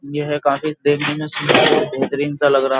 ये है काफी देखने में सुंदर और बेहतरीन सा लग रहा है।